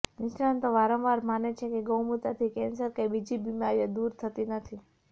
નિષ્ણાતો વારંવાર માને છે કે ગૌમૂત્રથી કેન્સર કે બીજી બીમારીઓ દુર થતી નથી